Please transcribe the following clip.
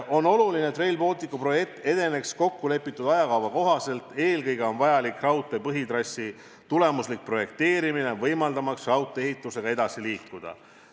On oluline, et Rail Balticu projekt edeneks kokkulepitud ajakava kohaselt, eelkõige on vajalik raudtee põhitrassi tulemuslik projekteerimine, et raudtee-ehitusega oleks võimalik edasi liikuda.